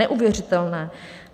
Neuvěřitelné!